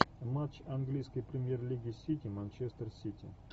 матч английской премьер лиги сити манчестер сити